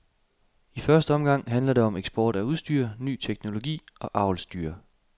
I første omgang handler det om eksport af udstyr, ny teknologi og avlsdyr.